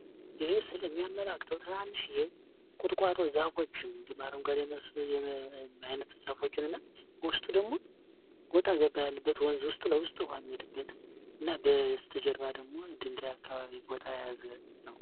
ይህ ምስል የሚያመላክተው ትንንሽዬ የአረንጓዴ ዛፎችን እንዲሁም አረንጓዴ መሰል አይነት ዛፎችን እና ውስጡ ደግሞ ወጣ ገባ ያለበት ወንዝ ውስጥ ለውስጥ የሚሄድበት እና በስተ-ጀርባ ደግሞ ድንጋይ አካባቢ ቦታ የያዘ ነው።